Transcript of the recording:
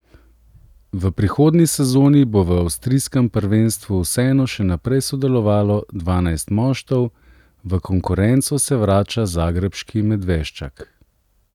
V prihodnji sezoni bo v avstrijskem prvenstvu vseeno še naprej sodelovalo dvanajst moštev, v konkurenco se vrača zagrebški Medveščak.